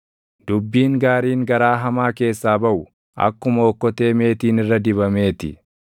Dubbiin gaariin garaa hamaa keessaa baʼu akkuma okkotee meetiin irra dibamee ti.